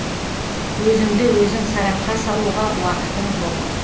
өзіңді өзің сарапқа салуға уақытың жоқ